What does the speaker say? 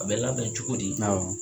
A bɛ labɛn cogo di awɔ.